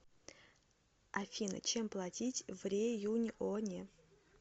афина чем платить в реюньоне